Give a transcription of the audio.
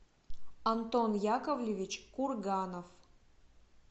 антон яковлевич курганов